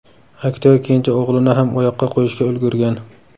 Aktyor kenja o‘g‘lini ham oyoqqa qo‘yishga ulgurgan.